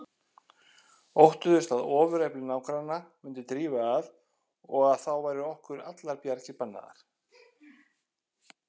Óttuðust að ofurefli nágranna myndi drífa að og að þá væru okkur allar bjargir bannaðar.